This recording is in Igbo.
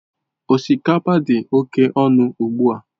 Osikapa dị oke ọnụ ugbu a.